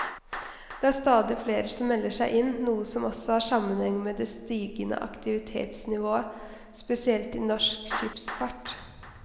Det er stadig flere som melder seg inn, noe som også har sammenheng med det stigende aktivitetsnivået, spesielt i norsk skipsfart.